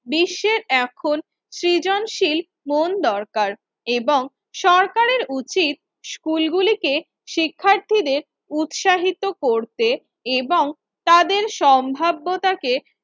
বিশ্বের এখন সৃজনশীল মন দরকার এবং সরকারের উচিত স্কুলগুলিকে শিক্ষার্থীদের উৎসাহিত করতে এবং তাদের সম্ভাব্যতাকে